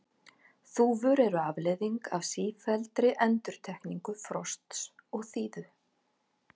þúfur eru afleiðing af sífelldri endurtekningu frosts og þíðu